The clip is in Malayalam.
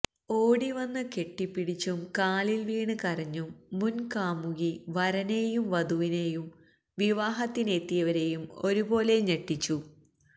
ഓടി വന്ന് കെട്ടിപ്പിടിച്ചും കാലില് വീണ് കരഞ്ഞും മുന്കാമുകി വരനേയും വധുവിനേയും വിവാഹത്തിനെത്തിയവരേയും ഒരു പോലെ ഞെട്ടിച്ചു